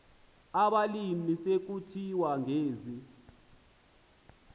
abalimi sekusithiwa ngezi